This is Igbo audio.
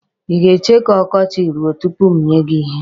Ị ga-eche ka ọkọchị ruo tupu m nye gị ihe ahụ.